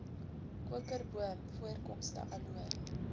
kokerboom voorkomste aloe